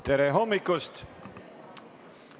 Tere hommikust!